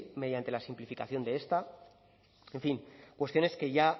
mediante la simplificación de esta en fin cuestiones que ya